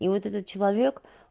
и вот этот человек